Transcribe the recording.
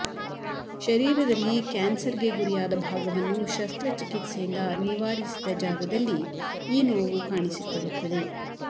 ಶರೀರದಲ್ಲಿ ಕ್ಯಾನ್ಸರ್ಗೆ ಗುರಿಯಾದ ಭಾಗವನ್ನು ಶಸ್ತ್ರಚಿಕಿತ್ಸೆಯಿಂದ ನಿವಾರಿಸಿದ ಜಾಗದಲ್ಲಿ ಈ ನೋವು ಕಾಣಿಸಿಕೊಳ್ಳುತ್ತದೆ